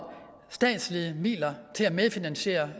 statslige midler til at medfinansiere